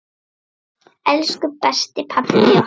Elsku besti pabbi okkar.